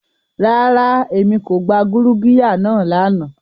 Rara, Emi ko gba gurugiya naa lana.